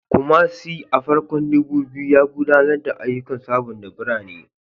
Kumasi, a farkon 2000s, ya gudanar da ayyukan sabunta birane